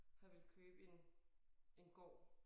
Har villet købe en en gård